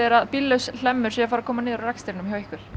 að bíllaus Hlemmur sé að fara að koma niður á rekstrinum hjá ykkur